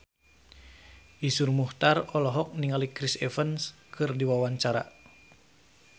Iszur Muchtar olohok ningali Chris Evans keur diwawancara